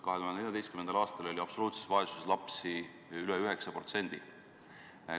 2014. aastal oli absoluutses vaesuses lapsi veidi üle 9%.